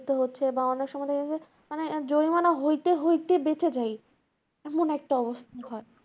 করতে হচ্ছে। বা অনেক সময় দেখেছি যে, জরিমানা হইতে হইতে বেঁচে যাই এমন একটা অবস্থা হয়।